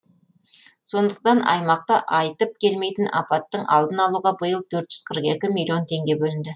сондықтан аймақта айтып келмейтін апаттың алдын алуға биыл төрт жүз қырық екі миллион теңге бөлінді